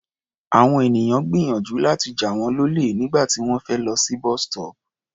Àwọn ènìyàn gbìyànjú láti jà wọ́n lólè nígbà tí wọ́n fẹ́ lọ sí bus-stop.